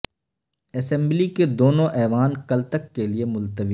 assembly کے دونوں ایوان کل تک کے لئے ملتوی